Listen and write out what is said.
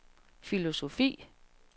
filosofi